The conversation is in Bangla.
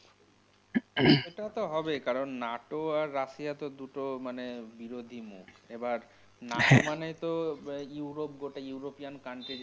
সেটা তো হবে কারণ নাটো আর রাশিয়া তো দুটো মানে বিরোধী মুখ. এবার হ্যা নাটো মানে তো হমম ইউরোপ গোটা ইউরোপিয়ান country যেটা